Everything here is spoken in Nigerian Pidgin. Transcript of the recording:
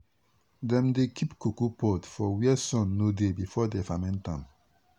dem dey keep cocoa pod for where sun no dey before dem ferment am.